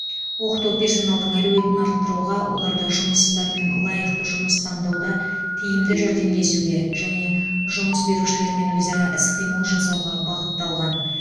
оқыту персоналдың әлеуетін арттыруға оларды жұмыссыздармен лайықты жұмыс таңдауда тиімді жәрдемдесуге және жұмыс берушілермен өзара іс қимыл жасауға бағытталған